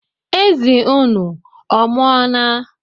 Ezi unu ọ mụọla